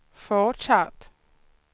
fortsatt